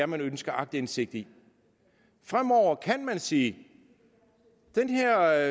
man ønsker aktindsigt i fremover kan man sige den her